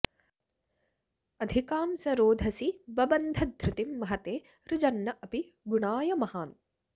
अधिकां स रोधसि बबन्ध धृतिं महते रुजन्न् अपि गुणाय महान्